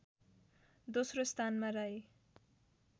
दोस्रो स्थानमा राई